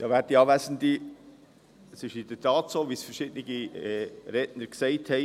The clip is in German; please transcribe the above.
Es ist in der Tat so, wie verschiedene Redner gesagt haben.